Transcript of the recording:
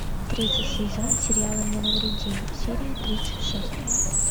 третий сезон сериала не навреди серия тридцать шесть